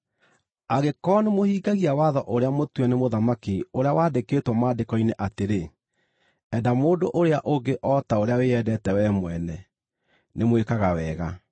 Angĩkorwo nĩmũhingagia watho ũrĩa mũtue nĩ mũthamaki ũrĩa wandĩkĩtwo Maandĩko-inĩ atĩrĩ, “Enda mũndũ ũrĩa ũngĩ o ta ũrĩa wĩyendete wee mwene,” nĩmwĩkaga wega.